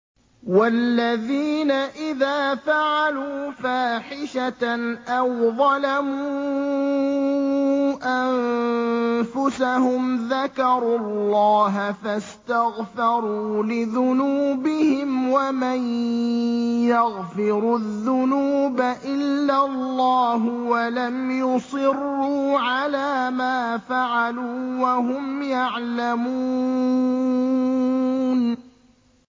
وَالَّذِينَ إِذَا فَعَلُوا فَاحِشَةً أَوْ ظَلَمُوا أَنفُسَهُمْ ذَكَرُوا اللَّهَ فَاسْتَغْفَرُوا لِذُنُوبِهِمْ وَمَن يَغْفِرُ الذُّنُوبَ إِلَّا اللَّهُ وَلَمْ يُصِرُّوا عَلَىٰ مَا فَعَلُوا وَهُمْ يَعْلَمُونَ